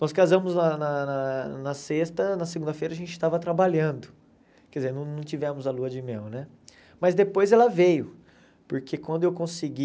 Nós casamos na na na na sexta, na segunda-feira a gente estava trabalhando, quer dizer, não tivemos a lua de mel né, mas depois ela veio, porque quando eu consegui,